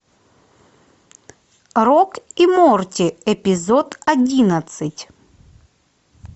рик и морти эпизод одиннадцать